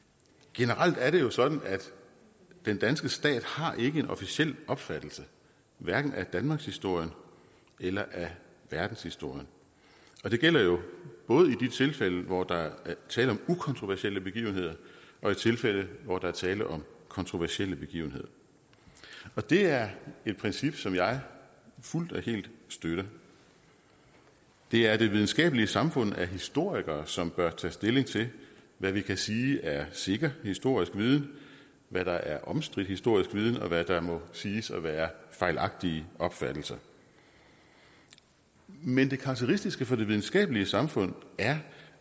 generelt er det jo sådan at den danske stat ikke har en officiel opfattelse hverken af danmarkshistorien eller af verdenshistorien det gælder jo både i de tilfælde hvor der er tale om ukontroversielle begivenheder og i tilfælde hvor der er tale om kontroversielle begivenheder det er et princip som jeg fuldt og helt støtter det er det videnskabelige samfund af historikere som bør tage stilling til hvad vi kan sige er sikker historisk viden hvad der er omstridt historisk viden og hvad der må siges at være fejlagtige opfattelser men det karakteristiske for det videnskabelige samfund er